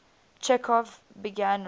chekhov began writing